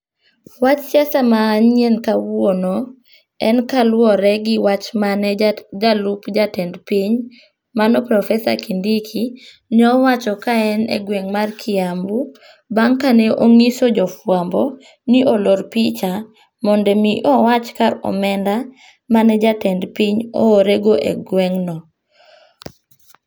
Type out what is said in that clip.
Wach siasa manyien kawuono, en kaluwore gi wach mane jalup jatend piny mano profesa Kindiki ne owacho kaen e gweng' mar Kiambu, bang' kane onyiso jofwambo ni olor picha mondo mi owach kar omenda mane jatend piny oorego e gweng'no.